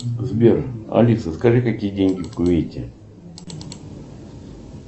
сбер алиса скажи какие деньги в кувейте